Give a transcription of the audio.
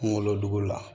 Kunkolodugu la